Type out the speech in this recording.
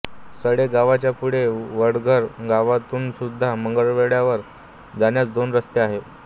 सडे गावाच्या पुढे वडघर गावातूनसुद्धा मंगळगडावर जाण्यास दोन रस्ते आहेत